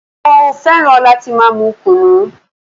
Mo fẹ́ràn láti máa mú kùnú.